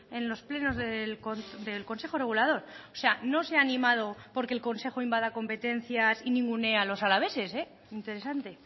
en los plenos del consejo regulador o sea no se ha animado porque el consejo invada competencias y ningunee a los alaveses interesante